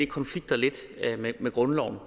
konflikter lidt med grundloven